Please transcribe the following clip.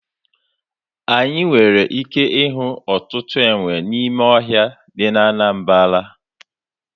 Anyị nwere ike ịhụ ọtụtụ enwe n'ime ọhịa dị na Anambara.